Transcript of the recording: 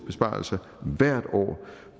besparelser hvert år